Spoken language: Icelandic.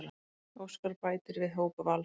Óskar bætir við hóp Vals